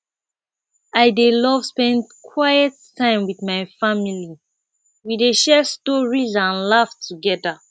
i dey love spend quiet time with my family we dey share stories and laugh together